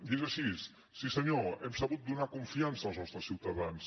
i és així sí senyor hem sabut donar confiança als nostres ciutadans